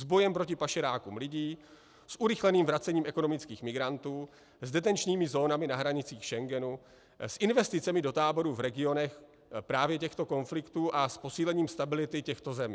S bojem proti pašerákům lidí, s urychleným vracením ekonomických migrantů, s detenčními zónami na hranicích Schengenu, s investicemi do táborů v regionech právě těchto konfliktů a s posílením stability těchto zemí.